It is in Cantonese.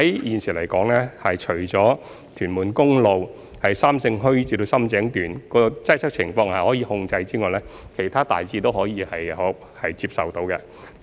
現時，屯門公路由三聖墟至深井一段的擠塞情況已在可控的範圍內，而其他路段的情況亦大致可以接受。